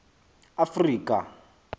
afrika